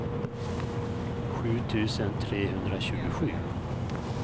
sju tusen trehundratjugosju